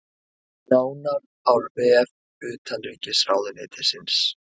Nánar á vef utanríkisráðuneytisins